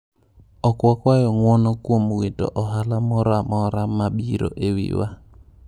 “Ok wakwayo ng’uono kuom wito ohala moro amora ma biro e wiwa.”